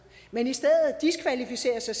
men i stedet diskvalificerer sig